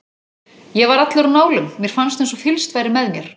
Ég var allur á nálum, mér fannst eins og fylgst væri með mér.